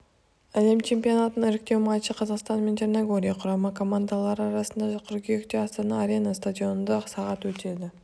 әлем чемпионатының іріктеу матчы қазақстан мен черногория құрама командалары арасында қыркүйекте астана арена стадионында сағат өтеді